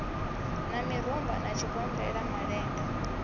na mirumba sa tshigombela malende